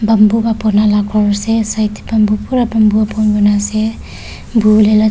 bamboo pa banala khor ase side tae tae bamboo pura bamboo pa bon kuri na ase buhiwolae ja--